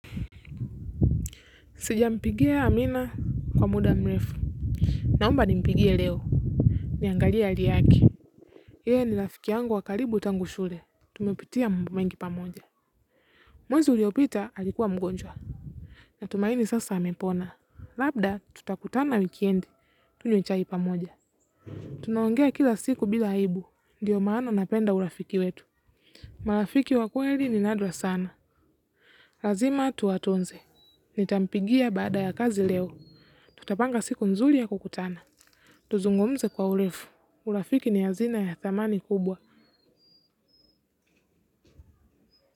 Sijampigia Amina kwa muda mrefu. Naomba nimpigie leo. Niangalie ali yaki. Iye ni rafiki yangu wakaribu tangushule. Tumepitia mbomengi pamoja. Mwezi uliopita alikuwa mgonjwa. Na tumaini sasa amepona. Labda tutakutana wikiendi tuinjoy pamoja. Tunaongea kila siku bila haibu. Ndiyo maana napenda urafiki wetu. Malafiki wakweli ni nadra sana. Lazima tu watunze. Nitampigia bada ya kazi leo. Tutapanga siku nzuri ya kukutana. Tuzungumze kwa ulefu. Urafiki ni hazina ya thamani kubwa.